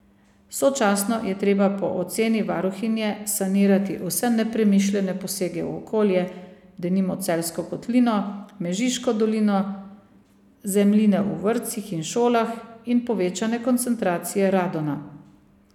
Sočasno je treba po oceni varuhinje sanirati vse nepremišljene posege v okolje, denimo Celjsko kotlino, Mežiško dolino, zemljine v vrtcih in šolah in povečane koncentracije radona.